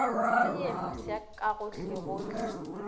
se ye mpsha ka gohlegohle